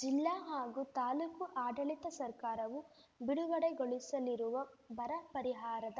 ಜಿಲ್ಲಾ ಹಾಗೂ ತಾಲೂಕು ಆಡಳಿತ ಸರ್ಕಾರವು ಬಿಡುಗಡೆಗೊಳಿಸಲಿರುವ ಬರ ಪರಿಹಾರದ